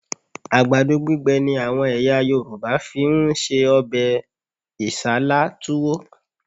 Àgbàdo gbígbẹ ni àwọn ẹ̀yà Yorùbá fi ń se ọbẹ̀ Isálá Túwó